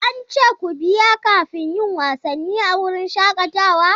An ce ku biya kafin yin wasanni a wurin shakatawa?